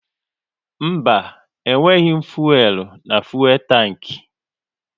Mba, e nweghị fuelu na fuelu tanki